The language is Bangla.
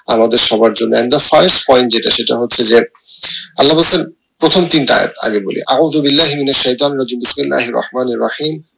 আমাদের সবার জন্য একদম first point যেটা সেটা হচ্ছে যে আল্লাহ বলছেন প্রথম তিনটা আগে বলি আলহামদুলিল্লা